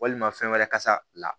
Walima fɛn wɛrɛ kasa la